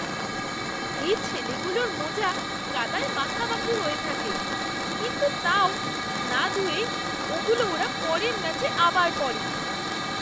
এই ছেলেগুলোর মোজা কাদায় মাখামাখি হয়ে থাকে, কিন্তু তাও না ধুয়েই ওগুলো ওরা পরের ম্যাচে আবার পরে।